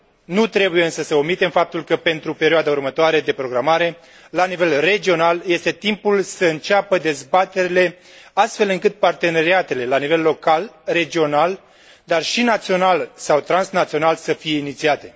Nu trebuie însă să omitem faptul că, pentru perioada următoare de programare, la nivel regional este timpul să înceapă dezbaterile, astfel încât parteneriatele la nivel local, regional, dar și național sau transnațional să fie inițiate.